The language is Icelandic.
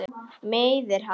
Meiðir hann.